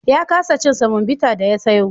Ya kasa cin wani semobita da ya sayo.